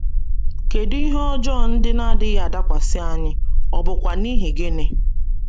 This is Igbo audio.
Kedu ihe ọjọọ ndị na - adịghị adakwasị anyị, ọ̀ bụkwa n’ihi gịnị?